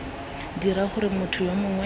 dira gore motho yo mongwe